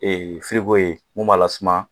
Ee ye min b'a lasuma